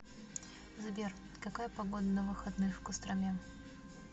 сбер какая погода на выходных в костроме